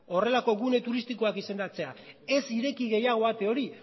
horrelako gune turistikoak izendatzera ez ireki gehiago ate hori